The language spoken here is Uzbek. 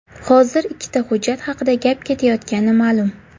Hozir ikkita hujjat haqida gap ketayotgani ma’lum.